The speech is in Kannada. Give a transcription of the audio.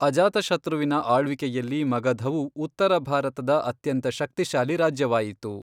ಅಜಾತಶತ್ರುವಿನ ಆಳ್ವಿಕೆಯಲ್ಲಿ ಮಗಧವು ಉತ್ತರ ಭಾರತದ ಅತ್ಯಂತ ಶಕ್ತಿಶಾಲಿ ರಾಜ್ಯವಾಯಿತು.